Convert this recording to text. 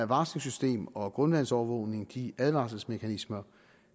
varslingssystem og grundvandsovervågning de advarselsmekanismer